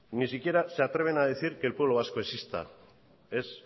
ni siquiera se atreven a decir que el pueblo vasco exista es